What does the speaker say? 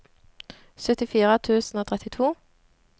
syttifire tusen og trettito